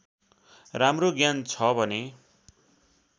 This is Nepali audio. राम्रो ज्ञान छ भने